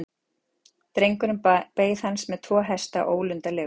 Drengurinn beið hans með tvo hesta, ólundarlegur.